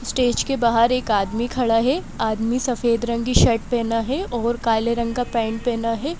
Stage के बाहर एक आदमी खड़ा है आदमी सफेद रंग की शर्ट पेहना है और काले रंग का पैंट पेहना है।